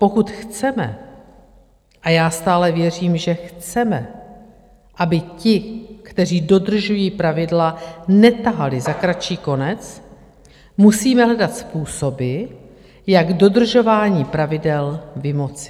Pokud chceme, a já stále věřím, že chceme, aby ti, kteří dodržují pravidla, netahali za kratší konec, musíme hledat způsoby, jak dodržování pravidel vymoci.